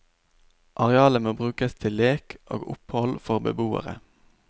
Arealet må brukes til lek og opphold for beboere.